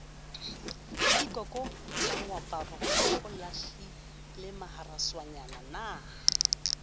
pikoko ka moaparo o lahlilemaharaswanyana